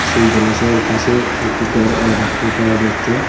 সেই জলাশয়ের পাশে একটি গরও দেখতে পাওয়া যাচ্ছে।